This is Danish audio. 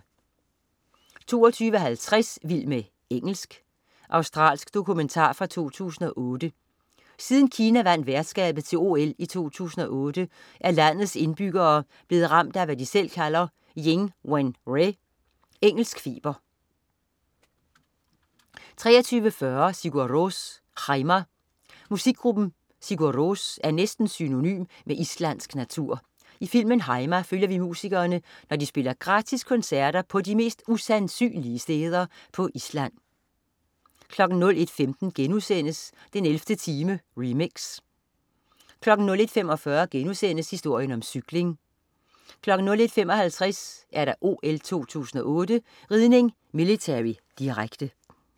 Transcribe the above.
22.50 Vild med engelsk. Australsk dokumentar fra 2008. Siden Kina vandt værtskabet til OL i 2008, er landets indbyggere blevet ramt af, hvad de selv kalder Ying wen re, engelsk feber 23.40 Sigur Rós. Heima. Musikgruppen Sigur Rós er næsten synonym med islandsk natur. I filmen "Heima" følger vi musikerne, når de spiller gratis koncerter på de mest usandsynlige steder på Island 01.15 den 11. time, remix* 01.45 Historien om cyklen* 01.55 OL 2008: Ridning, millitary. Direkte